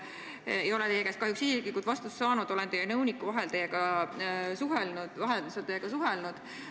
Ma ei ole teie käest kahjuks isiklikult vastust saanud, olen teie nõuniku vahendusel teiega suhelnud.